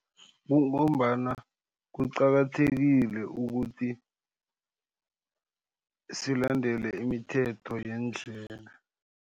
Kungombana kuqakathekile ukuthi silandela imithetho yendlela.